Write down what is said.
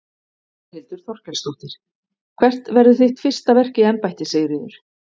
Þórhildur Þorkelsdóttir: Hvert verður þitt fyrsta verk í embætti Sigríður?